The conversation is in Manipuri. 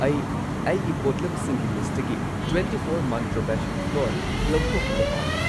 ꯑꯩ ꯑꯩꯒꯤ ꯄꯣꯠꯂꯝꯁꯤꯡꯒꯤ ꯂꯤꯁꯠꯇꯒꯤ ꯇ꯭ꯋꯦꯟꯇꯤꯐꯣꯔ ꯃꯟꯇ꯭ꯔ ꯕꯦꯁꯟ ꯐ꯭ꯂꯣꯔ ꯂꯧꯊꯣꯛꯈꯤꯕ ꯄꯥꯝꯃꯤ꯫